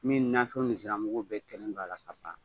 Min nafɛnw ni ziranmmugu bɛɛ kɛlen don a la kaban